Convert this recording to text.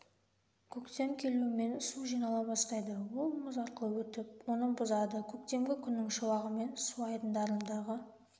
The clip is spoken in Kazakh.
көктем келумен су жинала бастайды ол мұз арқылы өтіп оны бұзады көктемгі күннің шуағымен су айдындарындағы